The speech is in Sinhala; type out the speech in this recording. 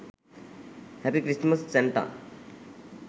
happy christmas santa